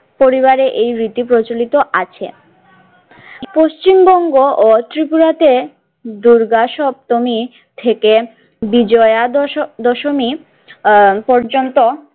পরিবারে এই রীতি প্রচলিত আছে পশ্চিমবঙ্গ ও ত্রিপুরাতে দুর্গা সপ্তমী থেকে বিজয়া দশ দশমী আহ পর্যন্ত।